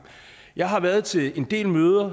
jeg har været til en del møder